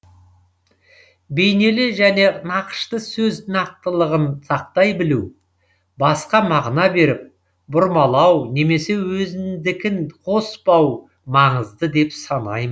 бейнелі және нақышты сөз нақтылығын сақтай білу басқа мағына беріп бұрмалау немесе өзіңдікін қоспау маңызды деп санайм